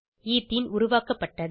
ethene உருவாக்கப்பட்டது